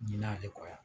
Ɲina ne kɔ yan